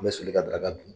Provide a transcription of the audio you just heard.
An bɛ soli ka daga dun